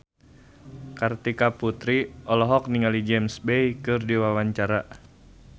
Kartika Putri olohok ningali James Bay keur diwawancara